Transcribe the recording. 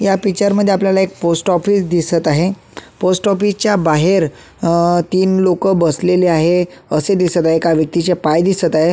या पिक्चर मध्ये आपल्याला एक पोस्ट ऑफिस दिसत आहे पोस्ट ऑफिस च्या बाहेर अ तीन लोक बसलेले आहे असे दिसत आहे एका व्यक्तीचे पाय दिसत आहे.